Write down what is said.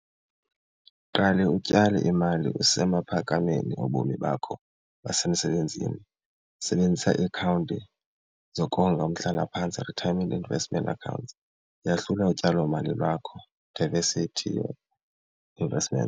Qale utyale imali usemaphakameni obomi bakho basemsebenzini, sebenzisa iiakhawunti zokonga umhlalaphantsi, retirement investment accounts, yahlula utyalomali lwakho diversity investment.